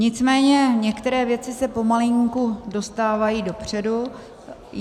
Nicméně některé věci se pomalinku dostávají dopředu.